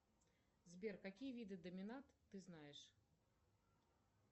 сбер какие виды доминат ты знаешь